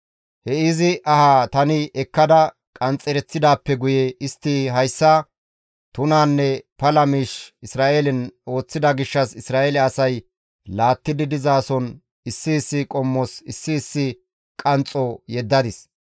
He izi aha tani ekkada qanxxereththidaappe guye istti hayssa tunanne pala miish Isra7eelen ooththida gishshas Isra7eele asay laattidi dizason issi issi qommos issi issi qanxxo yeddadis.